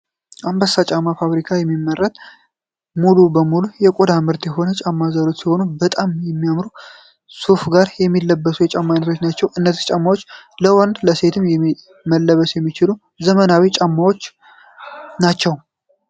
አምባሳ ጫማ ፋብሪካ የሚመረጥ ሙሉ በሙሉ የቆዳ ምርት የሆኑ የጫማ ዘሮች ሲሆኑ በጣም የሚያምሩና ሱፍ ጋር የሚለበሱ የጫማ አይነቶች ናቸው። እነዚህ ጫማዎች ለወንድም ለሴትም መለበስ የሚችሉ ዘመናዊ ጫማዎት ናቸው።